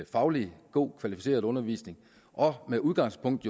faglig god og kvalificeret undervisning med udgangspunkt